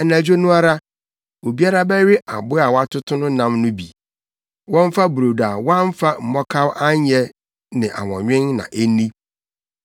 Anadwo no ara, obiara bɛwe aboa a wɔatoto no no nam no bi. Wɔmfa brodo a wɔamfa mmɔkaw anyɛ ne awɔnwen na enni.